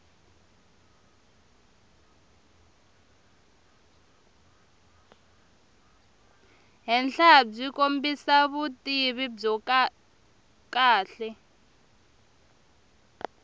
henhlabyi kombisa vutivi byo kahle